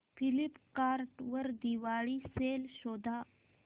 Flipkart वर Diwali sale शोधा